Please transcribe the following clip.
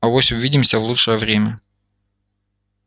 авось увидимся в лучшее время